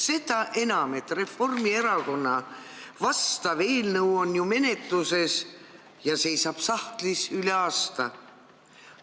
Seda enam, et Reformierakonna vastav eelnõu on ju menetluses ja seisab juba üle aasta sahtlis.